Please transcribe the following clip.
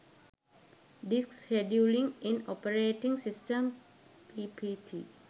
disk scheduling in operating system ppt